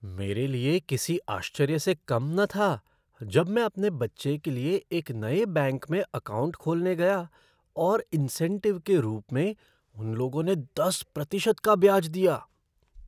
मेरे लिए किसी आश्चर्य से कम न था जब मैं अपने बच्चे के लिए एक नए बैंक में अकाउंट खोलने गया और इन्सेंटिव के रूप में उन लोगों ने दस प्रतिशत का ब्याज दिया।